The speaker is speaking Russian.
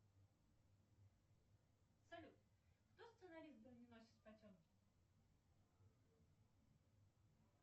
салют кто сценарист броненосец потемкин